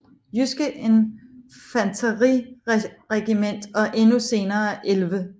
Jydske Infanteriregiment og endnu senere 11